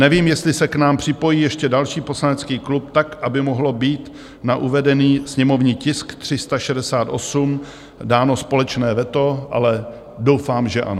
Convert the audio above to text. Nevím, jestli se k nám připojí ještě další poslanecký klub tak, aby mohlo být na uvedený sněmovní tisk 368 dáno společné veto, ale doufám, že ano.